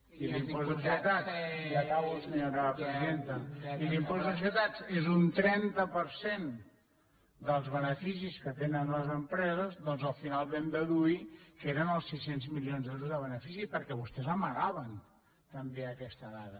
i l’impost de societats ja acabo senyora presidenta i l’impost de societats és un trenta per cent dels beneficis que tenen les empreses doncs al final vam deduir que eren els sis cents milions d’euros de benefici perquè vostès amagaven també aquesta dada